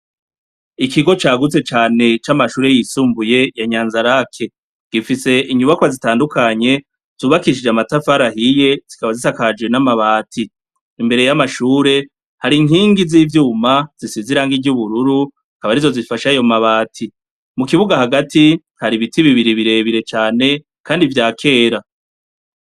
Ikigo cagutse cane camashure yisumbuye ya Nyanzarake gifise inyubakwa zitandukanye zubakishije amatafari ahiye zikaba zisakaje n'amabati, imbere y'amashure hari inkingi zivyuma zisize irangi ry'ubururu akaba arizo zifasha ayo mabati, mu kibuga hagati hari ibiti bibiri birebire cane kandi vyakera.